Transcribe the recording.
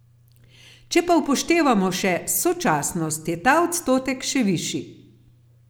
Če pa upoštevamo še sočasnost, je ta odstotek še višji.